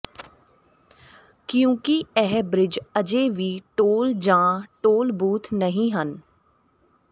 ਕਿਉਂਕਿ ਇਹ ਬ੍ਰਿਜ ਅਜੇ ਵੀ ਟੋਲ ਜਾਂ ਟੋਲ ਬੂਥ ਨਹੀਂ ਹਨ